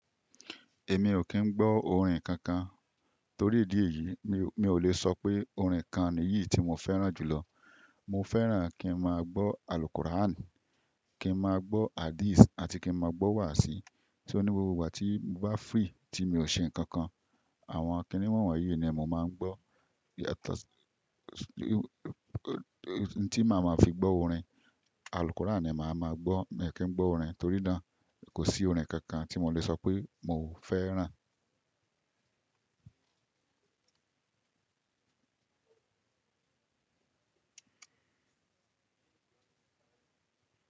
Èmi ò kí ń gbọ́ orin kankan. Torí ìdí èyí, mi, mi ò lè sọ pé orin kan nìyí tí mo fẹ́ràn jù lọ. Mo fẹ́ràn kí n máa gbọ́ àlùkùrán, kí n máa gbọ́ hadísì àti kí n máa gbọ́ wàsìí. Só ní gbogbo ìgbà tí mo bá free, tí mi ò ṣe nǹkan kan, àwọn kiní wọ̀nwọ̀nyí ni mo máa ń gbọ́. Tí màá ma fi gbọ́ orin, àlùkùrán ni màá ma gbọ́. Mi ì kí ń gbọ́ orin torí náà, kò sí orin kankan tí mo lè sọ pé mo fẹ́ràn.